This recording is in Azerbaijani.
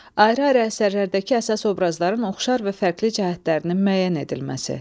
Ayrı-ayrı əsərlərdəki əsas obrazların oxşar və fərqli cəhətlərinin müəyyən edilməsi.